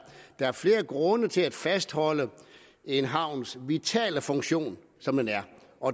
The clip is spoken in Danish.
er flere grunde til at fastholde en havns vitale funktion som den er